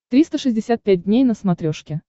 триста шестьдесят пять дней на смотрешке